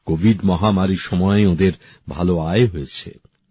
Covid মহামারীর সময় ওঁদের ভালো আয় হয়েছে